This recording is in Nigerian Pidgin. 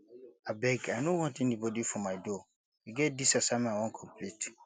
abeg i no want anybody for my door e get dis assignment i wan complete